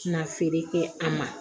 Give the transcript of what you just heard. Ti na feere kɛ a ma